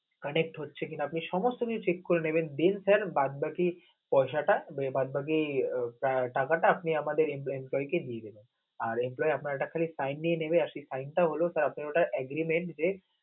conect হচ্ছে কিনা, আপনি সমস্ত কিছু check করে নেবেন, sir বাদবাকি পয়শাটা আহ বাদবাকি টাকাটা আপনি আমাদের employment কারিকে দিয়ে দিবেন. আর employ আপনার একটা sine নিয়ে নিবেন আর সেই sine টা হল আপনার ageriment যে